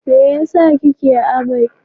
me yasa kike amai?